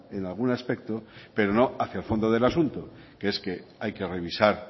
en algún aspecto pero no hacia el fondo del asunto que es que hay que revisar